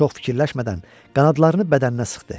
Çox fikirləşmədən qanadlarını bədəninə sıxdı.